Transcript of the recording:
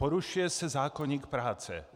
Porušuje se zákoník práce.